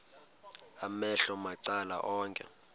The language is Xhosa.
amehlo macala onke